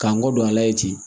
K'an kɔ don a la ye ten